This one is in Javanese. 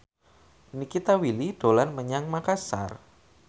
Nikita Willy dolan menyang Makasar